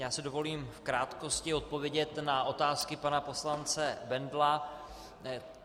Já si dovolím v krátkosti odpovědět na otázky pana poslance Bendla.